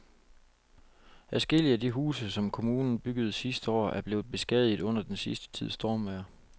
Adskillige af de huse, som kommunen byggede sidste år, er blevet beskadiget under den sidste tids stormvejr.